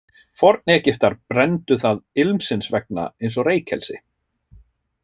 Forn-Egyptar brenndu það ilmsins vegna eins og reykelsi.